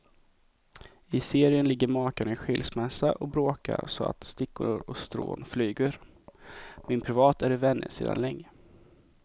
I serien ligger makarna i skilsmässa och bråkar så att stickor och strån flyger, men privat är de vänner sedan länge.